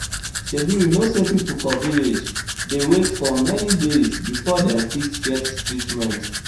shebi you know say pipo for village um dey wait erm for many days before dem fit get treatment. um